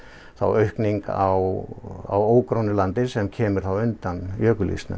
aukning á ógrónu landi sem kemur undan